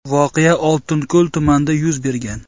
Voqea Oltinko‘l tumanida yuz bergan.